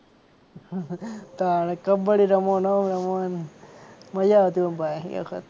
તાણે કબડ્ડી રમો ને ઓમ રમો ને મજા આવતી ઓમ ભાઈ એ વખત.